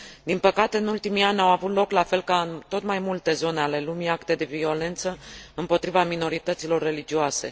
Din păcate, în ultimii ani, au avut loc, la fel ca în tot mai multe zone ale lumii, acte de violență împotriva minorităților religioase.